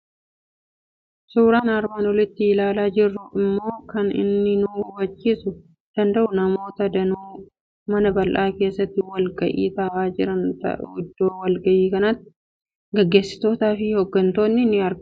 Suuraan armaan oliitti ilaalaa jirru immoo kan inni nu hubachiisuu danda'u namoota danuu mana bal'aa keessatti wal ga'ii taa'aa jiran ta'a. Iddoo wal ga'ii kanaatti gaggeessitootaa fi hoggantootni ni argamu.